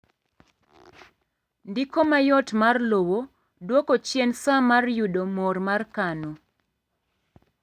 ndiko mayot mar lowo dwoko chien saa mar yudo mor mar kano